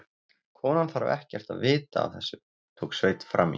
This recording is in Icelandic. Konan þarf ekkert að vita af þessu, tók Sveinn fram í.